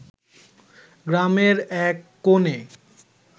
গ্রামের এক কোনে